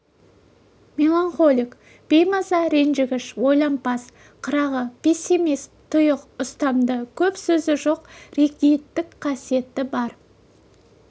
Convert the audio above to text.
меланхолик беймаза ренжігіш ойлампаз қырағы пессимист тұйық ұстамды көп сөзі жоқ ригидтік қасиеті бар